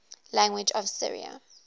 languages of syria